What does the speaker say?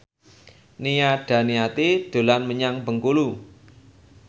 Nia Daniati dolan menyang Bengkulu